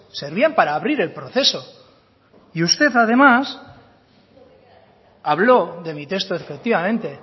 servían para abrir el proceso y usted además habló de mi texto efectivamente